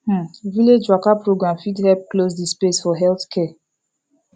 um village waka program fit help close de space for health care